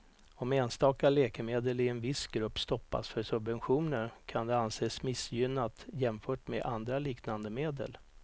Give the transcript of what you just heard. Om enstaka läkemedel i en viss grupp stoppas för subventioner kan det anses missgynnat jämfört med andra liknande medel.